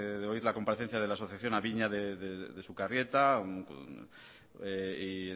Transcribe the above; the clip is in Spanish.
de oír la comparecencia de la asociación abiña de sukarrieta y